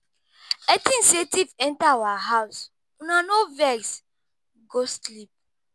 I think say thief enter our house, Una no vex, go sleep.